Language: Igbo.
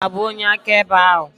Aga m abụ onye akaebe ahụ.